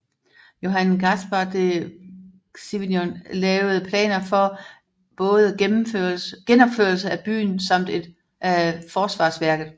Johan Caspar de Cicignon lavede planer for både genopførelsen af byen samt af forsvarsværket